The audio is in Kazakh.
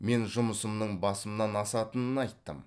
мен жұмысымның басымнан асатынын айттым